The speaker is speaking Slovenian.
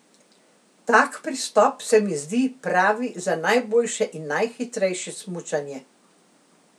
Tak pristop se mi zdi pravi za najboljše in najhitrejše smučanje.